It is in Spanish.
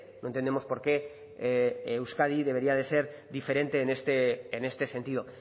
no entendemos por qué euskadi debería de ser diferente en este sentido